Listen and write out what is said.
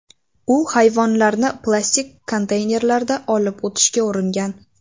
U hayvonlarni plastik konteynerlarda olib o‘tishga uringan.